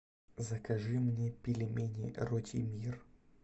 закажи мне пельмени ротимир